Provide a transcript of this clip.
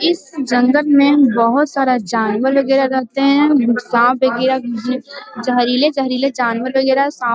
इस जंगल में बहुत सारा जानवर वगैरा रहते हैं साँप वैगरह जहरीले-जहरीले जानवर वगैरा साँप --